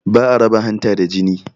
Ba a raba hanta da jini